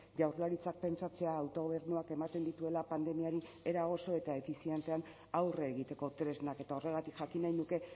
jaurlaritzak pentsatzea autogobernuak ematen dituela pandemiari era oso eta efizientean aurre egiteko tresnak eta horregatik jakin nahi nuke